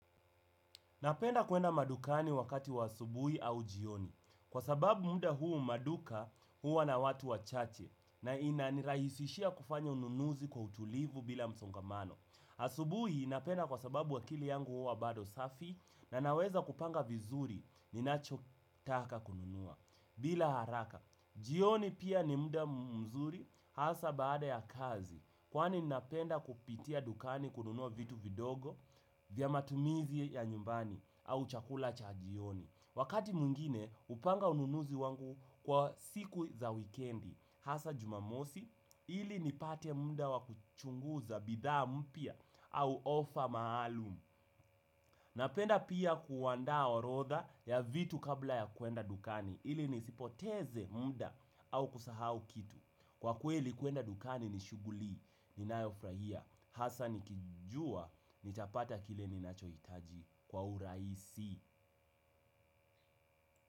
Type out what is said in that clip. Napenda kuenda madukani wakati wa asubuhi au jioni. Kwa sababu muda huu maduka huwa na watu wachache na inanirahisishia kufanya ununuzi kwa utulivu bila msongamano. Asubui napenda kwa sababu akili yangu huwa bado safi na naweza kupanga vizuri ninacho taka kununua bila haraka. Jioni pia ni muda mzuri hasa baada ya kazi kwani napenda kupitia dukani kununua vitu vidogo vya matumizi ya nyumbani au chakula cha jioni. Wakati mwingine hupanga ununuzi wangu kwa siku za wikendi hasa jumamosi ili nipate muda wa kuchunguza bidhaa mpya au ofa maalumu. Napenda pia kuwanda orodha ya vitu kabla ya kuenda dukani ili nisipoteze muda au kusahau kitu. Kwa kweli kuenda dukani ni shuguli, ninayo furahia, hasa nikijua nitapata kile ninachoitaji kwa uraisi.